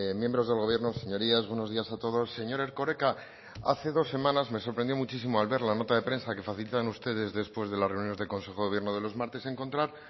miembros del gobierno señorías buenos días a todos señor erkoreka hace dos semanas me sorprendió muchísimo al ver la nota de prensa que facilitan ustedes después de las reuniones del consejo de gobierno de los martes encontrar